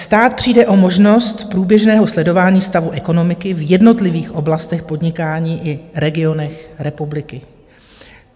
Stát přijde o možnost průběžného sledování stavu ekonomiky v jednotlivých oblastech podnikání i regionech republiky.